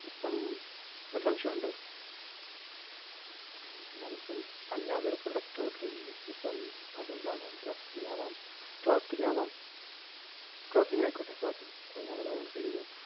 ഇപ്പം ഒരു സംശയം ഒണ്ട് ഉം ഞാനിപ്പം അല്ലാതൊരു product order എയ്യുന്നു. ഇപ്പം, അതെന്താണ് dressing ആവാം clothing ആവാം clothing ആയിക്കോട്ടെ clothing. അപ്പം ഞാനത് order എയ്തു.